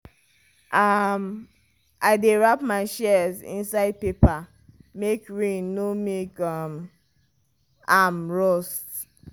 um i dey wrap my shears inside paper make rain no make um am rust.